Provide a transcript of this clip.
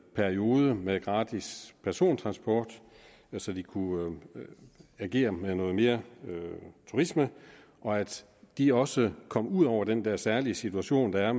periode med gratis persontransport så de kunne agere med noget mere turisme og at de også kom ud over den der særlige situation der er